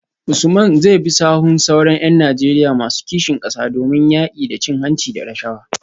Usman zai bi sahun sauran ‘yan Najeriya masu kishin kasa domin yaki da cin hanci da rashawa?